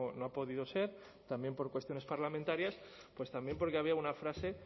no ha podido ser también por cuestiones parlamentarias pues también porque había una frase